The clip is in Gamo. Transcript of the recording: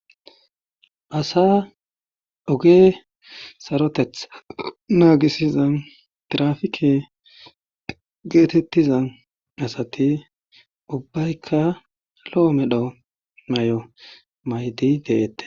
Asaa oge sarotetha naagisiza tiraafike geetettiza asati ubbayka lo7o medho mayo mayidi deettees.